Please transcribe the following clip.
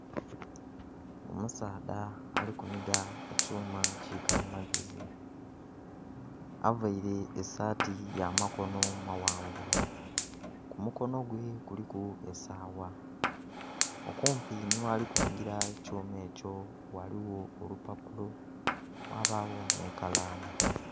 Omusaadha alikuniga ekyuma kikalimagezi avaire esaati yamakono mawanvu kumukono gwe kuliku esawa okumpi nighalikunigira ekyuma ekyo ghaligho olupapulo ghabagho n'ekalamu.